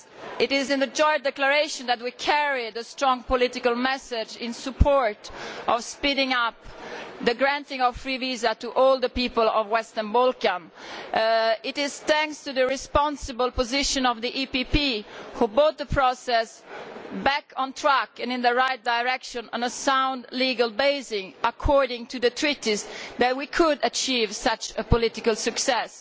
It is in the joint declaration that we carry the strong political message in support of speeding up the granting of free visas to all the people of the Western Balkans. It is thanks to the responsible position of the PPE Group, which brought the process back on track and in the right direction on a sound legal basis according to the Treaties, that we could achieve such a political success.